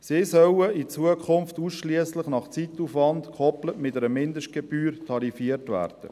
Sie sollen in Zukunft ausschliesslich nach Zeitaufwand, gekoppelt mit einer Mindestgebühr, tarifiert werden.